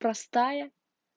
простая